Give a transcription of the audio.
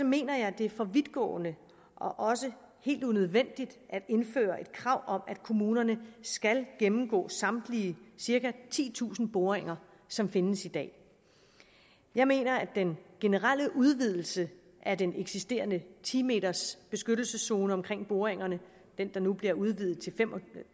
mener jeg det er for vidtgående og også helt unødvendigt at indføre et krav om at kommunerne skal gennemgå samtlige cirka titusind boringer som findes i dag jeg mener at den generelle udvidelse af den eksisterende ti meters beskyttelseszone omkring boringerne den der nu bliver udvidet til fem og